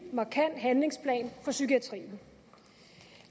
markant handlingsplan for psykiatrien